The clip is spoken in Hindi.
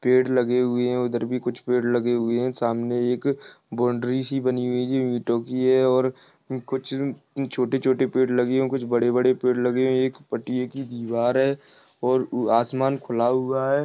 पेड़ लगे हुए है उधर भी कुछ पेड़ लगे हुए है सामने एक बाउंड्री सी बनी हुई है इटो कि है और कुछ छोटे छोटे पेड़ लगे हुए है कुछ बड़े बड़े पेड़ लगे है एक पटिये की दीवार है और आसमान खुला हुआ है।